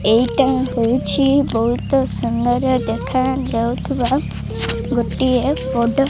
ଏଇଟା ହୋଉଛି ବୋହୁତ୍ ସୁନ୍ଦର ଦେଖାଯାଉଥିବା ଗୋଟିଏ ବଡ଼ --